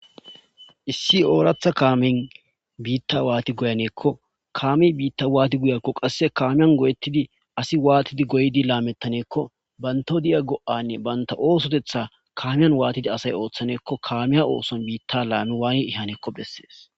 issi ooratha kaamin biitta waati goyaneekko kaami biitta waati guyakko qasse kaamiyan goyettidi asi waatidi goydi laamettaneekko banto di7a go7anne banta oosotetha kaamiyan waatidi asay ooththaneekko kaamiya ooson biitta la7anu waay ihanekko bessees